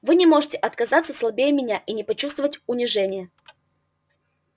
вы не можете оказаться слабее меня и не почувствовать унижения